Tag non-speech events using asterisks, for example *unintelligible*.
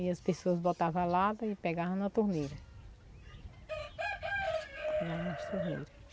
E as pessoas botavam a lata e pegavam na torneira. *unintelligible*